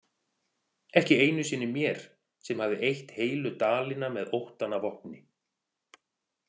Ekki einu sinni mér sem hafði eytt heilu dalina með óttann að vopni.